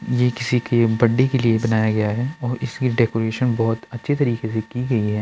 ये किसी के बड्डे के लिए बनाया गया है और इसका डेकोरेशन बोहोत अच्छे तरीके से की गई है।